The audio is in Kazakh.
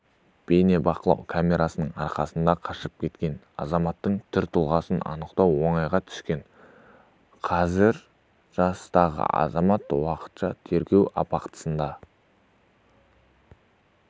бейнебақылау камерасының арқасында қашып кеткен азаматтың түр-тұлғасын анықтау оңайға түскен қазір жастағы азамат уақытша тергеу абақтысына